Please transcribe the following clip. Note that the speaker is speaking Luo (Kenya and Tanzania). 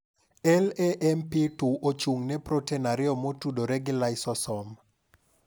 LAMP2 ochung' ne protin 2 motudore gi laisosom.